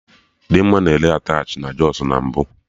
Dimma na-ere attachị na Jọsụ na mbụ